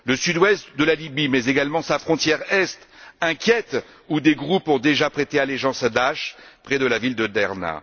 Le sud ouest de la Libye mais également sa frontière est inquiètent, où des groupes ont déjà prêté allégeance à Daïch près de la ville de Derna.